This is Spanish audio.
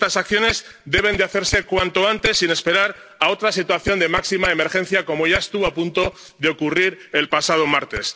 Y estas acciones deben hacerse cuanto antes, sin esperar a otra situación de máxima emergencia, como ya estuvo a punto de ocurrir el pasado martes.